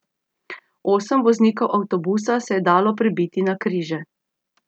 Osem voznikov avtobusa se je dalo pribiti na križe.